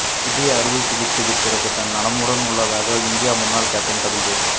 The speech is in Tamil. இதய அறுவைச் சிகிச்சைக்குப் பிறகு தான் நலமுடன் உள்ளதாக இந்திய முன்னாள் கேப்டன் கபில் தேவ்